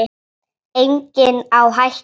Enginn á hættu.